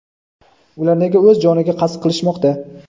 Ular nega o‘z joniga qasd qilishmoqda?.